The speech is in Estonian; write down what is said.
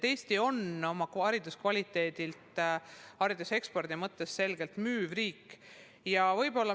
Eesti on oma hariduse kvaliteedilt hariduse ekspordi mõttes selgelt müüv riik.